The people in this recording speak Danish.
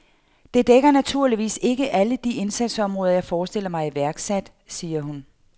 Det dækker naturligvis ikke alle de indsatsområder, jeg forestiller mig iværksat, siger hun.